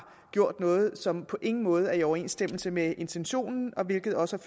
gjort noget som på ingen måde er i overensstemmelse med intentionen hvilket også